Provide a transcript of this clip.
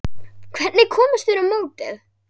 Hvernig komust þeir á mótið?